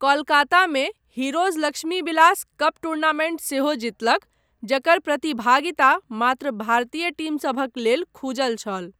कोलकातामे, Heroes Lakshmibilas cup tournament सेहो जीतलक, जकर प्रतिभागिता मात्र भारतीय टीमसभक लेल खुजल छल।